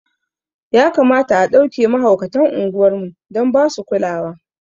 Ya kamata a ɗauke mahaukatan unguwar mu dan basu kulawa